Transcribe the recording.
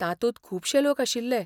तातूंत खुबशे लोक आशिल्ले.